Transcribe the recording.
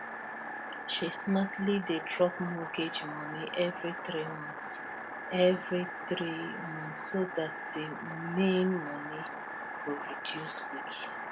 she smartly dey drop mortgage money every three months every three months so dat di main money go reduce quick